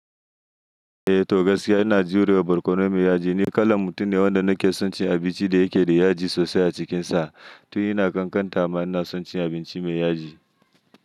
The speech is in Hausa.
Eh to gaskiya ina jurewa barkono mai yaji. Ni kalan mutum ne wanda nake son cin abinci da yake da yaji sosai a cikinsa. To ina ƙanƙanta ma ina son cin abinci mai yaji.